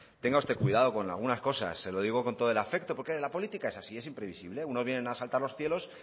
tenga usted cuidado con algunas cosas se lo digo con todo el afecto porque en la política es así es imprevisible unos vienen a asaltar los cielos